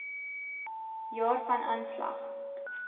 jaar van aanslag